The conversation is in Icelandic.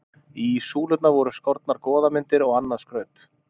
Í súlurnar voru skornar goðamyndir og annað skraut.